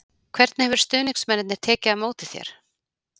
Hvernig hafa stuðningsmennirnir tekið á móti þér?